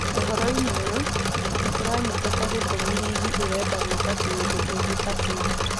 Ũhoro-inĩ ũyũ nĩ kũranyitĩka gĩtũmi rigi ĩrenda gwĩka kĩndũ ta kĩu.